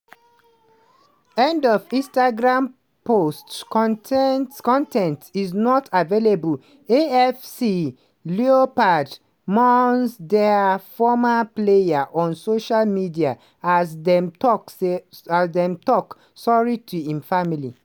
end of instagram post con ten t con ten t is not available afc leopards mourn dia former player on social media as dem tok say as dem tok sorry to im family.